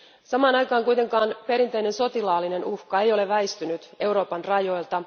Samaan aikaan kuitenkaan perinteinen sotilaallinen uhka ei ole väistynyt Euroopan rajoilta.